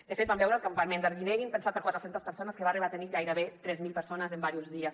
de fet vam veure el campament d’arguineguín pensat per a quatre centes persones que va arribar a tenir gairebé tres mil persones en diversos dies